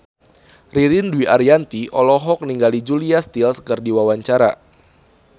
Ririn Dwi Ariyanti olohok ningali Julia Stiles keur diwawancara